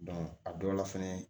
a dɔw la fɛnɛ